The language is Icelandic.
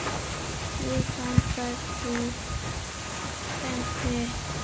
Mig vantar því vinnu.